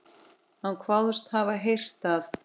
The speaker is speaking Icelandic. Hann kvaðst hafa heyrt að